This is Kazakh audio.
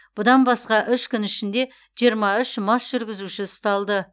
бұдан басқа үш күн ішінде жиырма үш мас жүргізуші ұсталды